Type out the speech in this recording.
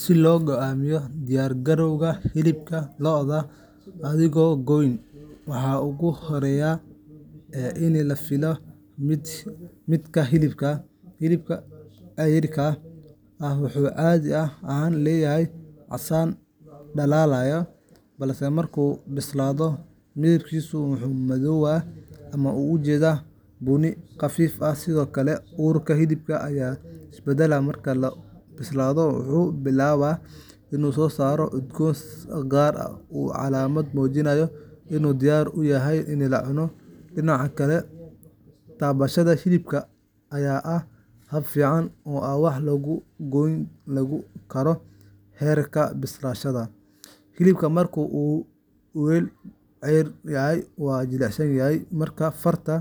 Si loo go'aamiyo diyaar-garowga hilibka lo’da adigoon gooyn, waxaa ugu horreeya in la fiiriyo midabka hilibka. Hilibka ceyriinka ah wuxuu caadi ahaan leeyahay casaan dhalaalaya, balse marka uu bislaado, midabkiisu wuu madoobaadaa ama u jeedaa bunni khafiif ah. Sidoo kale, urka hilibka ayaa is beddela marka uu bislaado; wuxuu bilaabaa inuu soo saaro udgoon gaar ah oo ah calaamad muujinaysa inuu diyaar u yahay in la cuno. Dhinaca kale, taabashada hilibka ayaa ah hab fiican oo aan wax lagu goyn lagu ogaan karo heerka bislaanshaha. Hilibka marka uu weli ceyriin yahay waa jilicsan yahay marka farta